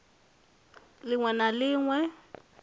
lin we na lin we